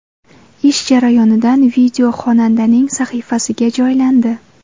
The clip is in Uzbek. Ish jarayonidan video xonandaning sahifasiga joylandi.